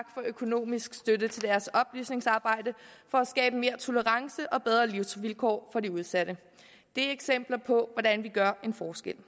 for økonomisk støtte til deres oplysningsarbejde for at skabe mere tolerance og bedre livsvilkår for de udsatte det er eksempler på hvordan vi gør en forskel